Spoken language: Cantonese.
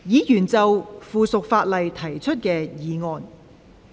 議員就附屬法例提出的議案。